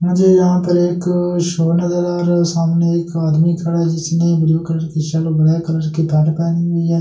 मुझे यहाँ पर एक शो नज़र आ रहा है सामने एक आदमी खड़ा है जिसने ब्लू कलर की शर्ट ब्लैक कलर की पैन्ट पहनी हुई है और इसके पीछे--